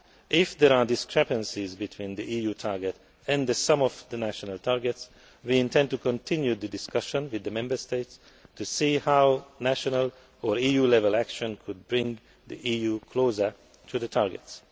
If there are discrepancies between the EU target and the sum of the national targets, we intend to continue the discussion with the Member States to see how national or EU level action could bring the EU closer to the targets.